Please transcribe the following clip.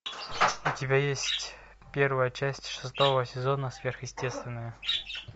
у тебя есть первая часть шестого сезона сверхъестественное